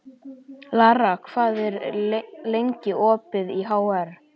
Lara, hvað er lengi opið í HR?